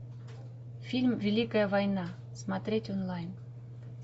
фильм великая война смотреть онлайн